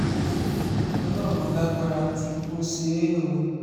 ọlọ́run alágbára ti tún ṣe é o